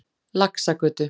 Laxagötu